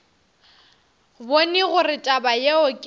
bone gore taba yeo ke